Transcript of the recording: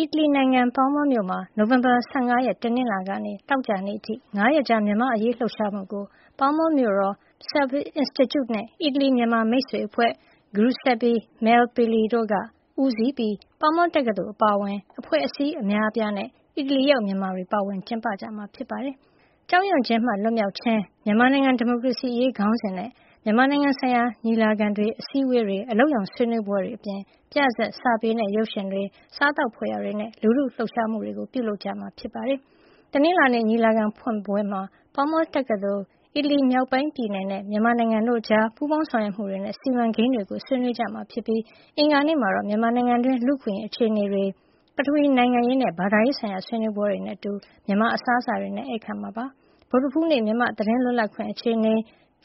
အီတလီနိုင်ငံ ပါးမားမြို့မှာ နိုဝင်ဘာလ ၁၅ ရက် တနင်္လာနေ့ကနေ နိုဝင်ဘာလ ၁၉ ရက် သောကြာနေ့အထိ ၅ ရက်ကြာ မြန်မာ့အရေး လှုပ်ရှားမှုကို ပါးမားမြို့တော်၊ Celvi Institute နဲ့ အီတလီ-မြန်မာမိတ်ဆွေအဖွဲ့ Giuseppe Malpeli တို့က ဦးစီးပြီး ပါးမားတက္ကသိုလ် အပါအဝင် အဖွဲ့အစည်း အများအပြားနဲ့ အီတလီရောက် မြန်မာတွေ ပါဝင်ကျင်းပကြမှာ ဖြစ်ပါတယ်။ “ကြောက်ရွံ့ခြင်းမှ လွတ်မြောက်ခြင်း - မြန်မာနိုင်ငံ ဒီမိုကရေစီအရေး” ခေါင်းစဉ်နဲ့ မြန်မာနိုင်ငံဆိုင်ရာ ညီလာခံတွေ၊ အစည်းအဝေးတွေ၊ အလုပ်ရုံဆွေးနွေးပွဲတွေ အပြင် ပြဇာတ်၊ စာပေနဲ့ ရုပ်ရှင်တွေ၊ စားသောက်ဖွယ်ရာတွေနဲ့ လူထုလှုပ်ရှားမှုတွေ ပြုလုပ်ကြမှာ ဖြစ်ပါတယ်။ တနင်္လာနေ့ ညီလာခံဖွင့်ပွဲမှာ ပါးမားတက္ကသိုလ်၊ အီတလီမြောက်ပိုင်းက Emilia – Romagna ပြည်နယ်နဲ့ မြန်မာနိုင်ငံတို့ကြား ပူးပေါင်းဆောင်ရွက်မှုတွေနဲ့ စီမံကိန်းတွေကို ဆွေးနွေးကြမှာဖြစ်ပြီး အင်္ဂါနေ့မှာတော့ မြန်မာနိုင်ငံတွင်း လူ့အခွင့်အရေး အခြေအနေတွေ၊ ပထဝီနိုင်ငံရေးနဲ့ ဘာသာရေးဆိုင်ရာ ဆွေးနွေးပွဲတွေနဲ့အတူ မြန်မာ့အစားအစာတွေနဲ့ ဧည့်ခံမှာ ဖြစ်ပါတယ်။ ဗုဒ္ဓဟူးနေ့မှာ မြန်မာ့ သတင်းလွတ်လပ်ခွင့်အခြေအနေ၊